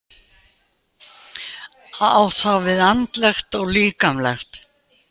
Á þá við andlegt og líkamlegt.